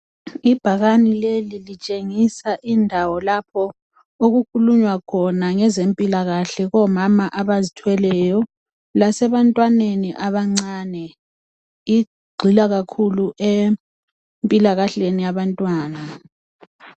Ibhakane leli litshengisa indawo lapho okukhulunywa khona ngenzempilakahle kubo mama abazithweleyo lasebantwantwaneni abancane. Igxila kakhulu emipilakahleni abantwana.